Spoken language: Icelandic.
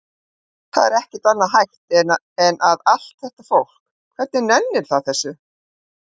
Það er ekki annað hægt en að. allt þetta fólk, hvernig nennir það þessu?